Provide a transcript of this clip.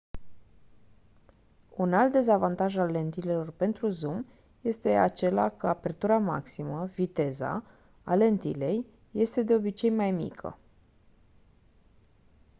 un alt dezavantaj al lentilelor pentru zoom este acela că apertura maximă viteza a lentilei este de obicei mai mică